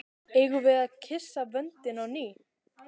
Eigum við að kyssa vöndinn á ný?